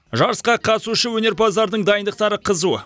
жарысқа қатысушы өнерпаздардың дайындықтары қызу